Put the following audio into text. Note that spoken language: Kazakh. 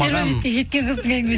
жиырма беске жеткен қыздың әңгімесі